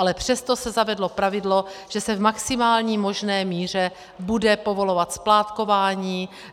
Ale přesto se zavedlo pravidlo, že se v maximální možné míře bude povolovat splátkování.